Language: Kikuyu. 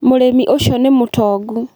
Mũrĩmi ũcio nĩ mũtongu.